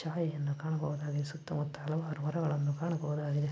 building ಗಳಲ್ಲಿ ಕೆಂಪು ಬಣ್ಣ ಚಾಯಗಳನ್ನು ಕಾಣಬಹುದಾಗಿದೆ ಸುತ್ತಮುತ್ತ--